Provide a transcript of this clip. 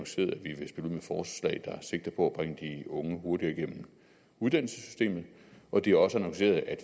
sigter på at unge hurtigere igennem uddannelsessystemet og det er også annonceret at